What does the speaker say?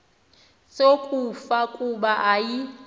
sokufa kuba ayi